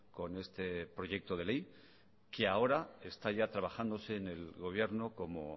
con este proyecto de ley que ahora está ya trabajándose en el gobierno como